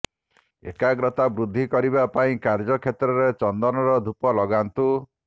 ଏକାଗ୍ରତା ବୃଦ୍ଧି କରିବା ପାଇଁ କାର୍ଯ୍ୟକ୍ଷେତ୍ରରେ ଚନ୍ଦନର ଧୂପ ଲଗାନ୍ତୁ